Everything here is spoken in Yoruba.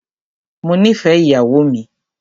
Mó nìfẹ ìyàwó mi.